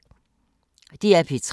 DR P3